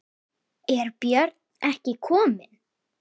Er Björn ekki kominn?